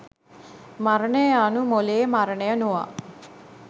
මරණය යනු මොළයේ මරණය නොව